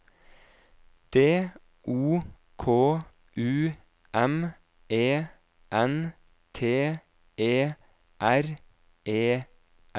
D O K U M E N T E R E S